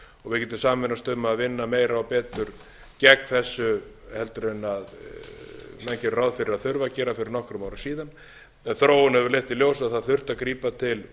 getum sameinast um að vinna meira og betur gegn þessu heldur en menn gera ráð fyrir að þurfi að gera fyrir nokkrum árum síðan þróunin hefur leitt í ljós að það hefur þurft að grípa til